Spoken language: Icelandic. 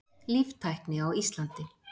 Líftækni á Íslandi.